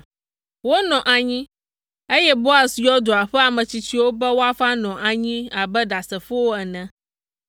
Wonɔ anyi, eye Boaz yɔ dua ƒe ame tsitsiwo be woava nɔ anyi abe ɖasefowo ene.